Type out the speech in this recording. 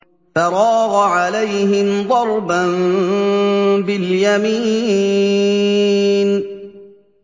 فَرَاغَ عَلَيْهِمْ ضَرْبًا بِالْيَمِينِ